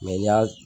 Mɛ n'i y'a